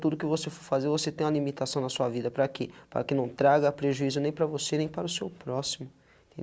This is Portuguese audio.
Tudo que você for fazer, você tem uma limitação na sua vida, para que? para que não traga, prejuízo, nem para você, nem para o seu próximo.